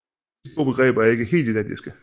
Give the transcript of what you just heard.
Disse to begreber er ikke helt identiske